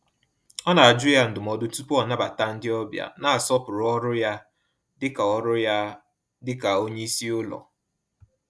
Ọ na-ajụ ya ndụmọdụ tupu ọ nabata ndị ọbịa, na-asọpụrụ ọrụ ya dịka ọrụ ya dịka onye isi ụlọ.